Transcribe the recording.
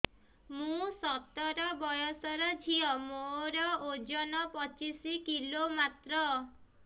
ମୁଁ ସତର ବୟସର ଝିଅ ମୋର ଓଜନ ପଚିଶି କିଲୋ ମାତ୍ର